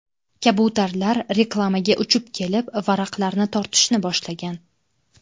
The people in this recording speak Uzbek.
Kabutarlar reklamaga uchib kelib, varaqlarni tortishni boshlagan.